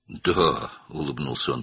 Bəli, o gülümsədi.